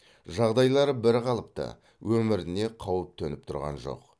жағдайлары бірқалыпты өміріне қауіп төніп тұрған жоқ